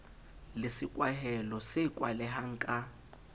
le sekwahelo se kwalehang ka